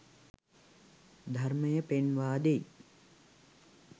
ධර්මය පෙන්වා දෙයි.